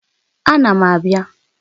Ána m abịa